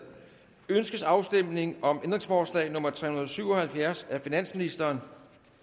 ønskes afstemning om ændringsforslag nummer tre hundrede og syv og halvfjerds af finansministeren